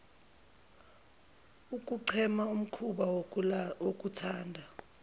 ukuchema umhkuba wokuthanda